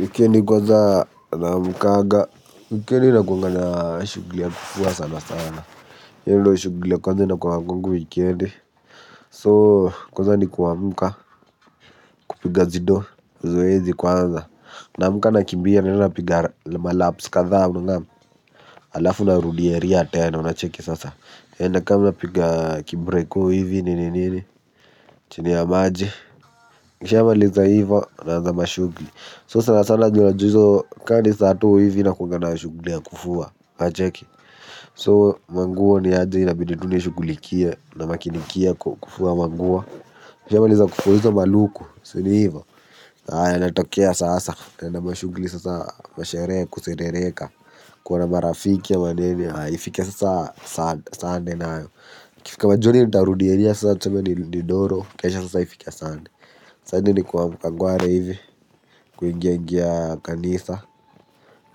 Wikendi kwanza naamkanga, wikendi ina kuwa na shughuli ya kufua sana sana hiyo ndio shughuli ya kwanza na kwa kwangu wikendi So kwanza ni kuamka kupiga zido, zoezi kwanza. Namka nakimbia na napiga malaps kadha unangam. Alafu narudi area tena unacheki sasa eeeh nakam napiga kibreko hivi nini nini. Chini ya maji kisha maliza hivyo naanza mashughuli So sana sana juu najua hivyo kaa ni sato hivi nakuwaga na shughuli ya kufua unacheki So manguo ni hadi inabidi tu shughulikie na makinikia kufua manguo. Nikishamaliza kufua hizo maluku, si ni hivo haya natokea sasa naenda mashuguli sasa masherehe kuserereka. Kuona marafiki ama nini haya ifike sasa sunday nayo ikifika majioni nitarudi area sasa tuseme nirudi doro, kisha sasa ifike Sunday ni kuamka ngware hivi, kuingia ingia kanisa.